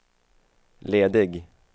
ledig